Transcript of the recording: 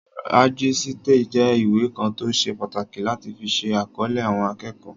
Rẹ́jísítà jẹ́ ìwé kan tó ṣe pàtàkì láti fi ṣe àkọlé àwọn akẹ́kọ̀ọ́